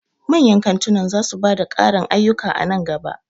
Manyan kantunan za su ba da ƙarin ayyuka a nan gaba.